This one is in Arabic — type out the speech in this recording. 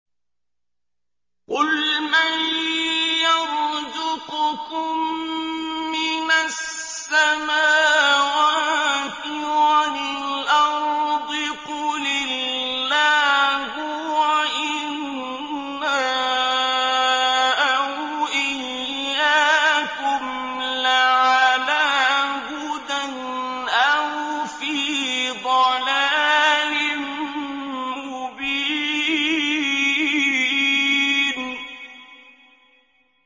۞ قُلْ مَن يَرْزُقُكُم مِّنَ السَّمَاوَاتِ وَالْأَرْضِ ۖ قُلِ اللَّهُ ۖ وَإِنَّا أَوْ إِيَّاكُمْ لَعَلَىٰ هُدًى أَوْ فِي ضَلَالٍ مُّبِينٍ